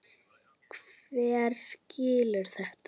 Hver skilur þetta?